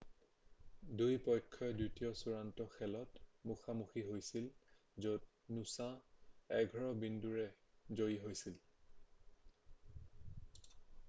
2 পক্ষই দ্বিতীয় চূড়ান্ত খেলত মুখা মুখী হৈছিল য'ত নুছাঁ 11 বিন্দুৰে জয়ী হৈছিল